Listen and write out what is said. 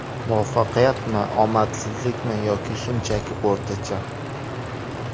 Muvaffaqiyatmi, omadsizlikmi yoki shunchaki o‘rtacha?